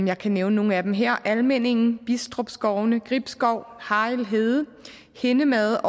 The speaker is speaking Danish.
jeg kan nævne nogle af dem her almindingen bistrup skovene gribskov harrild hede hindemade